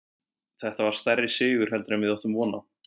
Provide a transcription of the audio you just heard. Þetta var stærri sigur heldur en við áttum von á.